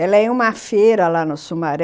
Ela ia a uma feira lá no Sumaré.